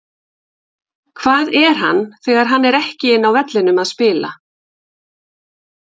Hvað er hann þegar hann er ekki inni á vellinum að spila?